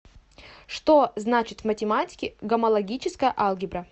что значит в математике гомологическая алгебра